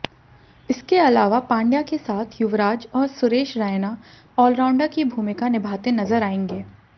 इसके अलावा पांड्या के साथ युवराज और सुरेश रैना ऑलराउंडर की भूमिका निभाते नजर आएंगे